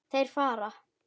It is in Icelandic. Þeir fara.